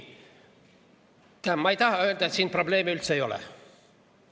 Ma ei taha öelda, et probleemi üldse ei ole.